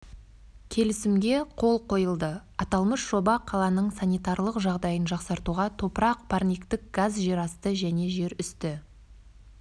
келісімге қол қойылды аталмыш жоба қаланың санитарлық жағдайын жақсартуға топырақ парниктік газ жерасты және жерүсті